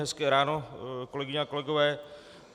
Hezké ráno, kolegyně a kolegové.